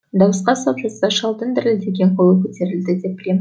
дауысқа сап жатса шалдың дірілдеген қолы көтерілді деп білем